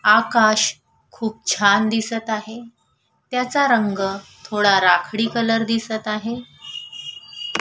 आकाश खूप छान दिसत आहे त्याचा रंग थोडा राखाडी कलर दिसत आहे.